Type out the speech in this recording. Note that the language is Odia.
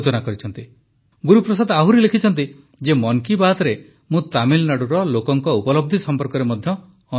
ଗୁରୁପ୍ରସାଦ ଆହୁରି ଲେଖିଛନ୍ତି ଯେ ମନ୍ କୀ ବାତ୍ରେ ମୁଁ ତାମିଲନାଡୁର ଲୋକଙ୍କ ଉପଲବ୍ଧି ସମ୍ପର୍କରେ ମଧ୍ୟ ଅନେକ ଥର କହିଛି